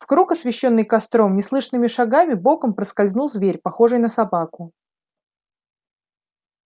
в круг освещённый костром неслышными шагами боком проскользнул зверь похожий на собаку